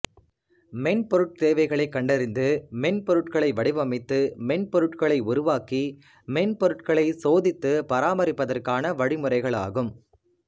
மென்பொருட் தேவைகளைக் கண்டறிந்து மென்பொருட்களை வடிவமைத்து மென்பொருட்களை உருவாக்கி மென்பொருட்களைச் சோதித்து பராமரிபதற்கான வழிமுறைகளாகும்